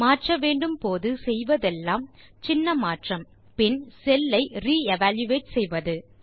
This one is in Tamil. மாற்ற வேண்டும் போது செய்வதெல்லாம் சின்ன மாற்றம் பின் செல் ஐ re எவல்யூயேட் செய்வது